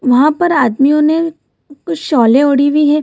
वहाँ पर आदमियों ने कुछ शोलें ओढ़ी हुई है।